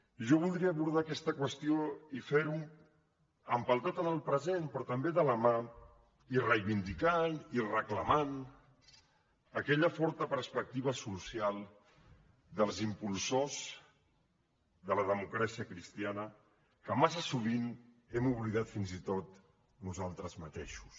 i jo voldria abordar aquesta qüestió i fer ho empeltat en el present però també de la mà i reivindicant i reclamant aquella forta perspectiva social dels impulsors de la democràcia cristiana que massa sovint hem oblidat fins i tot nosaltres mateixos